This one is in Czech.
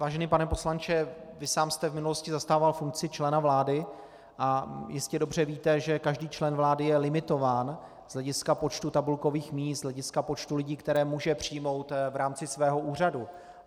Vážený pane poslanče, vy sám jste v minulosti zastával funkci člena vlády a jistě dobře víte, že každý člen vlády je limitován z hlediska počtu tabulkových míst, z hlediska počtu lidí, které může přijmout v rámci svého úřadu.